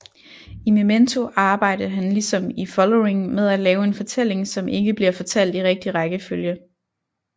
I Memento arbejde han ligesom i Following med at lave en fortælling som ikke bliver fortalt i rigtig rækkefølge